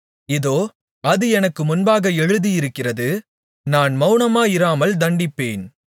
இதோ அது எனக்கு முன்பாக எழுதியிருக்கிறது நான் மவுனமாயிராமல் தண்டிப்பேன்